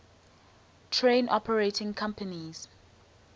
train operating companies